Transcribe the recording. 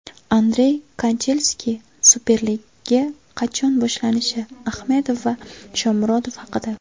Andrey Kanchelskis Superliga qachon boshlanishi, Ahmedov va Shomurodov haqida.